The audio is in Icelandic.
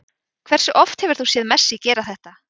Hversu oft hefur þú séð Messi gera þetta?